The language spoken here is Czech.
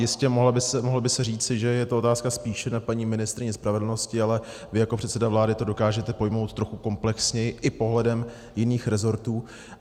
Jistě, mohlo by se říci, že je to otázka spíše na paní ministryni spravedlnosti, ale vy jako předseda vlády to dokážete pojmout trochu komplexněji i pohledem jiných rezortů.